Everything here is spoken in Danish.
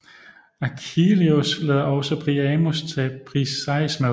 Achilleus lader også Priamos tage Briseis med